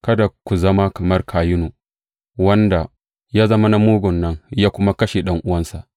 Kada ku zama kamar Kayinu, wanda ya zama na mugun nan, ya kuma kashe ɗan’uwansa.